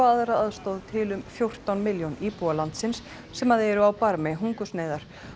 aðra aðstoð til um fjórtán milljón íbúa landsins sem eru á barmi hungursneyðar